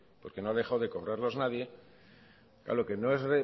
porque no ha dejado de cobrarlos nadie lo que no es